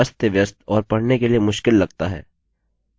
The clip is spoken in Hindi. यह काफी अस्तव्यस्त और पढ़ने के लिए मुश्किल लगता है